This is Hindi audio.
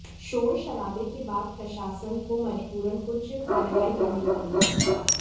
शोर शराबे के बाद प्रशासन को मजबूरन कुछ कार्रवाई करनी पड़ी